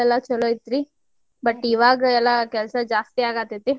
full ಎಲ್ಲಾ ಚುಲೊ ಇತ್ತ್ರಿ. but ಇವಾಗೆಲ್ಲಾ ಕೆಲ್ಸಾ ಜಾಸ್ತಿ ಆಗಾತೇತಿ.